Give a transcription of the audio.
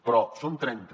però en són trenta